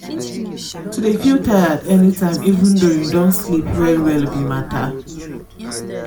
to de feel tired any tiime even though you don sleep well well be matter.